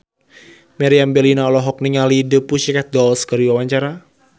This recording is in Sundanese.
Meriam Bellina olohok ningali The Pussycat Dolls keur diwawancara